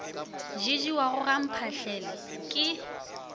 di jewago ga mphahlele ke